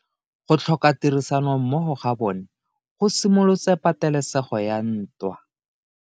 Go tlhoka tirsanommogo ga bone go simolotse patelesego ya ntwa.